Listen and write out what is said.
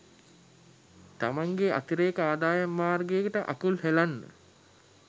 තමන්ගේ අතිරේක අදායම් මාර්ගයට අකුල් හෙලන්න